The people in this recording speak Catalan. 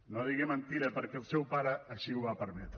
no digui mentida perquè el seu pare així ho va permetre